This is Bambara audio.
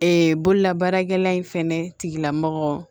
Ee bololabaarakɛla in fɛnɛ tigilamɔgɔ